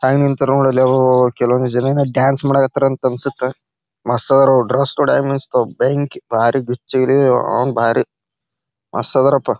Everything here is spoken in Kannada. ಹ್ಯಾಂಗ್ ನಿಂತಾರ್ ನೋಡಲ್ಲೇ ಅಬಬಾಬಾ ಕೆಲವಂದ್ ಜನಾಯೆನ್ ಡಾನ್ಸ್ ಮಾಡಾಕತ್ತಾರ ಅಂತ್ ಅನ್ಸುತ್ತ. ಮಸ್ತ್ ಅದಾರ ಅವರ ಡ್ರೆಸ್ ನೋಡ ಹೆಂಗ್ ಮಿಂಚ್ತಾವ್ ಭಂಕಿ ಭಾರಿ ಗಿಚ್ಚಿ ಗಿಲಿಗಿಲ್ಲ ಅವನೌನ್ ಭಾರಿ ಮಸ್ತ್ ಅದಾರಪ್ಪ.